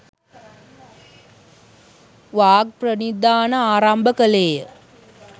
වාග්ප්‍රනිධාන ආරම්භ කළේ ය.